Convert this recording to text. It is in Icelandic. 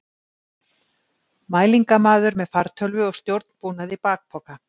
Mælingamaður með fartölvu og stjórnbúnað í bakpoka.